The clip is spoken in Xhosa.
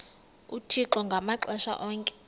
uthixo ngamaxesha onke